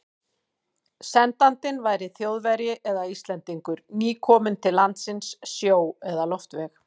Sendandinn væri Þjóðverji eða Íslendingur, nýkominn til landsins sjó- eða loftveg.